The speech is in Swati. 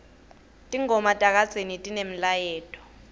tingoma takadzeni tinemlayeto